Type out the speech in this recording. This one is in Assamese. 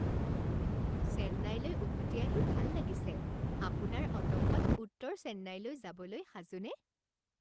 চেন্নাইলৈ উভতি আহি ভাল লাগিছে। আপোনাৰ অ'টোখন উত্তৰ চেন্নাইলৈ যাবলৈ সাজুনে?